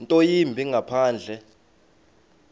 nto yimbi ngaphandle